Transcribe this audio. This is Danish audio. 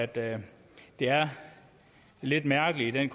det er lidt mærkeligt i den